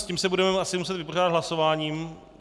S tím se budeme muset asi vypořádat hlasováním.